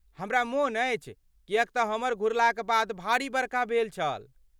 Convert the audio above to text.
हमरा मोन अछि किएक तँ हमर घुरलाक बाद भारी बरखा भेल छल।